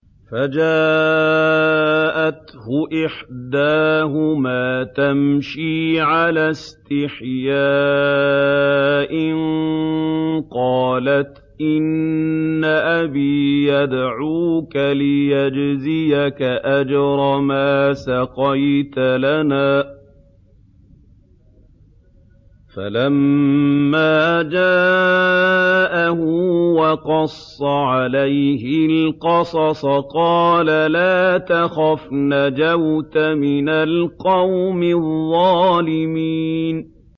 فَجَاءَتْهُ إِحْدَاهُمَا تَمْشِي عَلَى اسْتِحْيَاءٍ قَالَتْ إِنَّ أَبِي يَدْعُوكَ لِيَجْزِيَكَ أَجْرَ مَا سَقَيْتَ لَنَا ۚ فَلَمَّا جَاءَهُ وَقَصَّ عَلَيْهِ الْقَصَصَ قَالَ لَا تَخَفْ ۖ نَجَوْتَ مِنَ الْقَوْمِ الظَّالِمِينَ